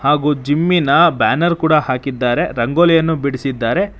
ಹಾಗೂ ಜಿಮ್ಮಿನ ಬ್ಯಾನರ್ ಕೂಡ ಹಾಕಿದ್ದಾರೆ ರಂಗೋಲಿಯನ್ನು ಬಿಡಿಸಿದ್ದಾರೆ.